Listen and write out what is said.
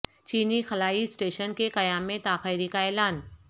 چینی خلائی اسٹیشن کے قیام میں تاخیری کا اعلان